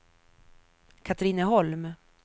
Katrineholm